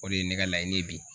O de ye ne ka laɲini ye bi.